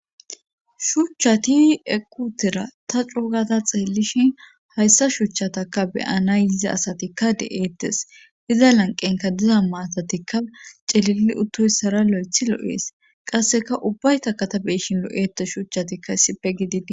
Shuuchchati equtira ta cuugada xeelishin hayssa shuchchatakka beyana yizi asatikka de7eettes iza lanqenka diza maatatikka celili uttoyssara lo7ethi lo7ees qasseka ubbayta katabeshin lo7ete shuchchatikka issipe gididi.